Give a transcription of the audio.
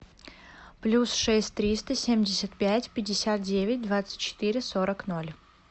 плюс шесть триста семьдесят пять пятьдесят девять двадцать четыре сорок ноль